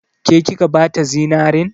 Ke kika bata zinarin?